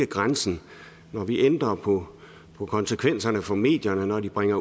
grænsen når vi ændrer på på konsekvenserne for medierne når de bringer